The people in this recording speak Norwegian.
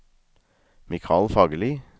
Mikal Fagerli